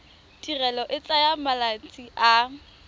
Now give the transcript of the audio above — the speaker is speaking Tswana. tirelo e tsaya malatsi a